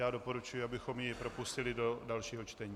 Já doporučuji, abychom ji propustili do dalšího čtení.